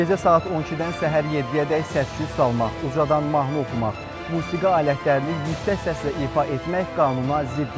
Gecə saat 12-dən səhər 7-ədək səs-küy salmaq, ucadan mahnı oxumaq, musiqi alətlərini yüksək səslə ifa etmək qanuna ziddir.